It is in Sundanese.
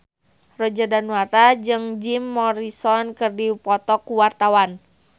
Roger Danuarta jeung Jim Morrison keur dipoto ku wartawan